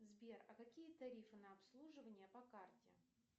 сбер а какие тарифы на обслуживание по карте